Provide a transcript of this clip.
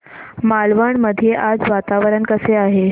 मालवण मध्ये आज वातावरण कसे आहे